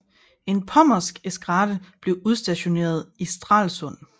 En pommersk eskadre blev udstationeret i Stralsund